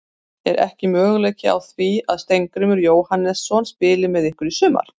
Er ekki möguleiki á því að Steingrímur Jóhannesson spili með ykkur í sumar?